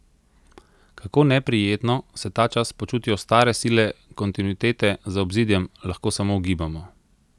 Kako neprijetno se ta čas počutijo stare sile kontinuitete za obzidjem, lahko samo ugibamo.